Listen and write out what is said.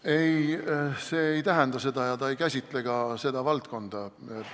Ei, see ei tähenda seda ja see seadus ei käsitle ka seda valdkonda.